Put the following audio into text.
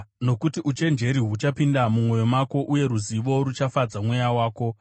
Nokuti uchenjeri huchapinda mumwoyo mako, uye ruzivo ruchafadza mweya wako.